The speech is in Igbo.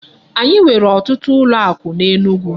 Anyị nwere otutu ụlọ akụ n'Enugu.